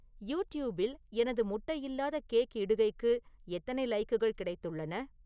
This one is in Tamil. யூடியூப்பில் எனது முட்டை இல்லாத கேக் இடுகைக்கு எத்தனை லைக்குகள் கிடைத்துள்ளன